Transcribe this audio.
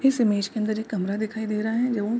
इस इमेज के अंदर एक कमरा दिखाई दे रहा है ज उ --